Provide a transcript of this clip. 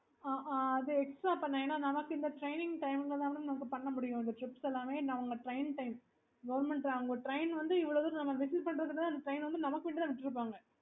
okay